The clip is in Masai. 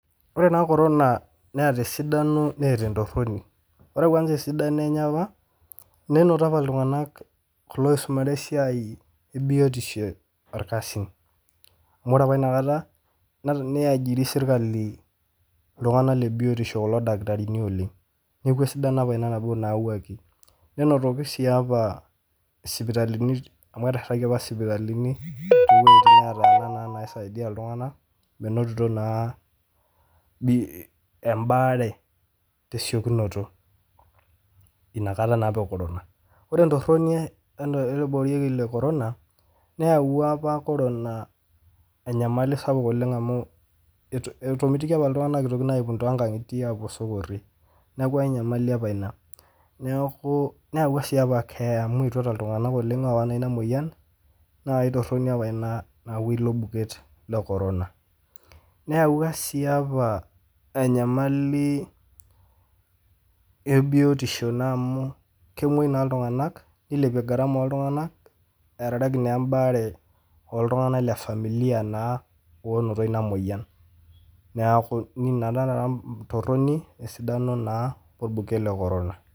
Ore taa corona neeta esidano neeta entoroni, ore kwanza esidano enye apa enoto apa iltunganak loisumare esiai ebiotisho orkasi amu ore apa inakata neajiri sirkali ildakitarini kulo tunganak le biotisho oleng niaku esidano nabo apa ina nayawuaki . Nenotoki sii apa sipitalini amu eteshetaki apa sipitalini too wuejitin neetana , metonito naa bii, embaare te siokinoto ina kata naa apa e corona. Ore entoroni ele toki le corona , neyawua apa corona enyalamalai sapuk amu etomitikio apa iltunganak itoki naa aipung too nkangitiee apuo esokori niaku enyamali apa ina . Niaku neyawua si apa keeya amu etuata iltunganak oowa ina moyian naa ae toroni apa ina nayawua ilo buket le corona. Neyawua sii apa enyamali ebiotisho amu kemwoi naa iltunganak nilepie garama oltunganak earareki naa embaare ooltunganak le familia naa onoto ina moyian. Niaku ina naa esidano we ntoroni orbuket le corona.